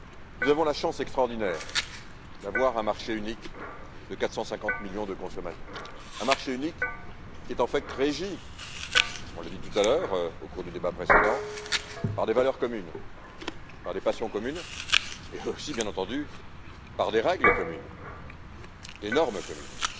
Nous avons la chance extraordinaire d'avoir un marché unique de 450 millions de consommateurs, un marché unique qui est en fait régi, on l'a dit au cours du débat précédent, par des valeurs communes, par des passions communes et aussi, bien entendu, par des règles communes, des normes communes.